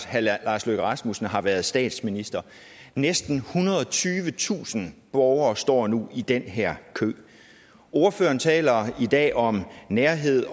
herre lars løkke rasmussen har været statsminister næsten ethundrede og tyvetusind borgere står nu i den her kø ordføreren taler i dag om nærhed